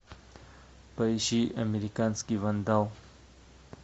поищи американский вандал